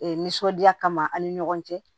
Ee nisɔndiya kama an ni ɲɔgɔn cɛ